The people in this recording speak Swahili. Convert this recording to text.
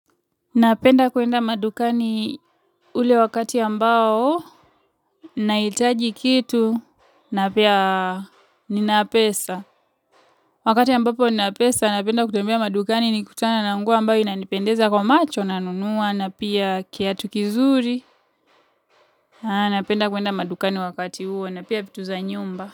Napenda kuenda madukani ule wakati ambao, naitaji kitu, na pia ninapesa. Wakati ambapo ninapesa, napenda kutembea madukani nikutana na nguo ambayo inanipendeza kwa macho, nanunua, na pia kiatu kizuri. Napenda kuenda madukani wakati huo, na pia vitu za nyumba.